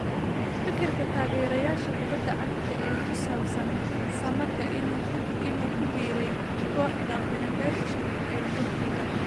Fikirka taageerayaasha kubada cagta ee ku saabsan Samatta inuu ku biiray kooxda Fenerbahce ee Turkiga.